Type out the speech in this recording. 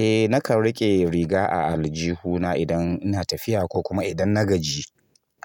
Eh nakan rike riga a aljihuna idan ina tafiya ko kuma idan na gaji